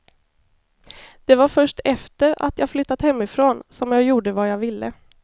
Det var först efter att jag flyttat hemifrån som jag gjorde vad jag ville.